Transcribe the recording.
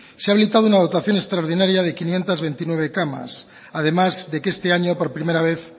se ha habilitado una dotación extraordinaria de quinientos veintinueve camas además de que este año por primera vez